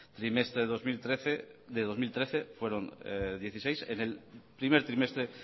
trimestre del dos mil trece fueron dieciséis en el primer trimestre